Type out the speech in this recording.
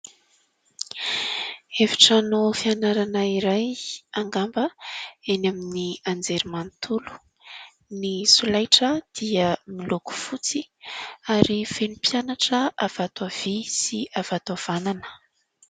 Efitrano fianarana iray angamba eny amin'ny anjelimanontolo. Ny solaitra dia miloko fotsy, ary feno mpianatra avy ato havia sy avy ato havanana.